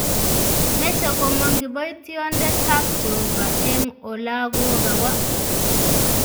Meche komong kiboitindet tab jehovah eng olagokawa